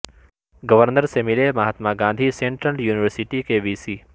governor سے ملے Mahatma Gandhi central university کے وی سی